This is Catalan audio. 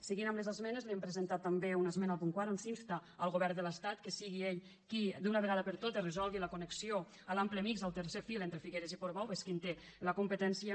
seguint amb les esmenes hem presentat també una esmena al punt quatre on s’insta el govern de l’estat que sigui ell qui d’una vegada per totes resolgui la connexió a l’ample mixt el tercer fil entre figueres i portbou que és qui en té la competència